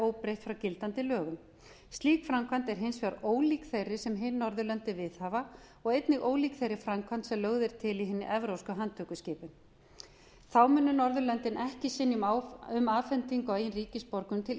óbreytt frá gildandi lögum slík framkvæmd er hins vegar ólík þeirri sem hin norðurlöndin viðhafa og einnig ólík þeirri framkvæmd sem lögð er til í hinni evrópsku handtökuskipan þá munu norðurlöndin ekki synja um afhendingu á eigin ríkisborgurum til